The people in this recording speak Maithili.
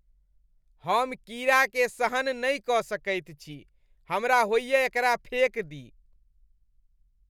हम कीड़ा के सहन नहि कऽ सकैत छी, हमरा होइए एकरा फेक दी ।